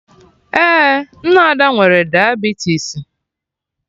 Ee, nne Ada nwere diabetisi